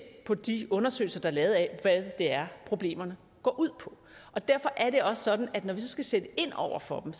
på de undersøgelser der er lavet af hvad det er problemerne går ud på og derfor er det også sådan at når vi skal sætte ind over for dem